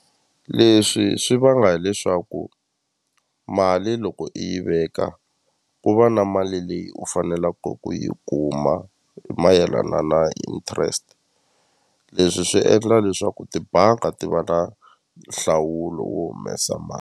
Leswi swi vanga hileswaku mali loko i yi veka ku va na mali leyi u fanelaka ku yi kuma hi mayelana na interest leswi swi endla leswaku tibanga ti va na nhlawulo wo humesa .